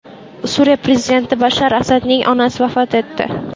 Suriya prezidenti Bashar Asadning onasi vafot etdi.